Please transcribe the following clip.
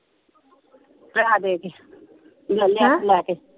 ਪੈਸਾ ਦੇ ਕੇ। ਲੈ ਲਿਆ ਆਪ ਲੈ ਕੇ।